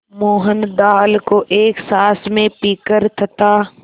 मोहन दाल को एक साँस में पीकर तथा